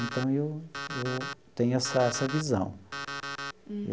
Então, eu eu tenho essa essa visão.